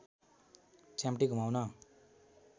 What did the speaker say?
च्याम्पटी घुमाउन